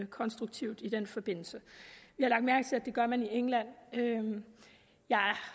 konstruktivt i den forbindelse vi har lagt mærke til at det gør man i england jeg